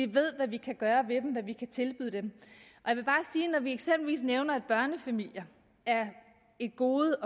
ved hvad de kan gøre ved dem og hvad de kan tilbyde dem og vi eksempelvis nævner at børnefamilier er et gode